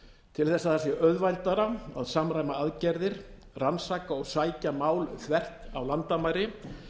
til þess að það sé auðveldara að samræma aðgerðir rannsaka og sækja mál þvert á landamæri